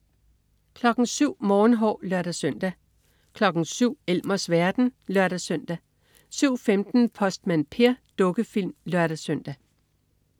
07.00 Morgenhår (lør-søn) 07.00 Elmers verden (lør-søn) 07.15 Postmand Per. Dukkefilm (lør-søn)